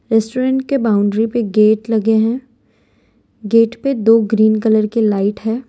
Restaurant के boundary पे gate लगे हैं गेट पे दो ग्रीन कलर के लाइट है।